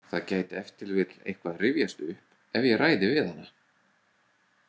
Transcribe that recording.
Það gæti ef til vill eitthvað rifjast upp ef ég ræði við hana.